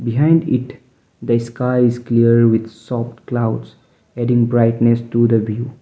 behind it sky is clear with soft colouds adding brightness to the view.